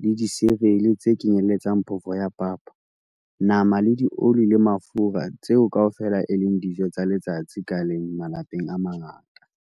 le disirele, tse kenyeletsang phofo ya papa, nama le dioli le mafura - tseo kaofela e leng dijo tsa letsatsi ka leng malapeng a mangata.